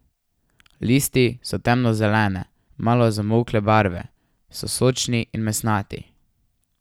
Listi so temno zelene, malo zamolkle barve, so sočni in mesnati.